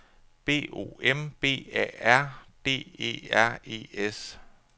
B O M B A R D E R E S